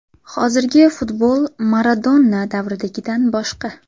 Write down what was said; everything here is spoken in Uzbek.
Hozirgi futbol Maradona davridagidan boshqa.